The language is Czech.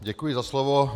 Děkuji za slovo.